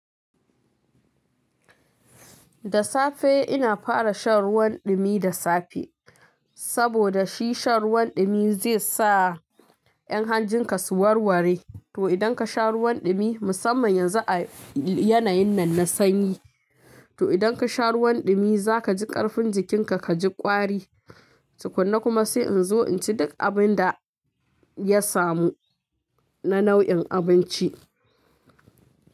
Da safe ina fara shan ruwan ɗumi da safe, saboda shi shan ruwan ɗumi zai sa yan hanjinka su warware. To idan ka sha ruwan ɗumi musamman yanzu a yanayin nan na sanyi, to idan ka sha ruwan ɗumi za ka ji ƙarfin jikinka ka ji ƙwari. Tukunna kuma sai in zo in ci duk abin da ya samu na nau'in abinci.